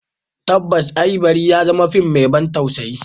Tabbas eh, bari ya zama fim mai ban tausayi.